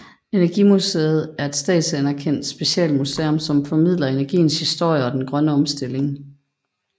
Energimuseet er et statsanerkendt specialmuseum som formidler energiens historie og den grønne omstilling